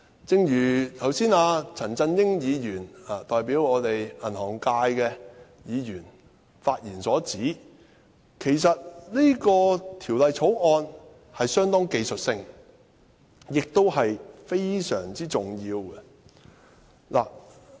正如剛才代表銀行界的陳振英議員發言指出，其實《條例草案》相當技術性，亦非常重要。